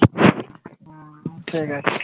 ঠিক আছে